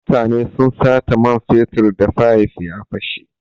Mutane sun sata man fetur da fayif ta fashe.